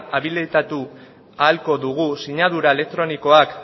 abilitatu ahalko dugu sinadura elektronikoak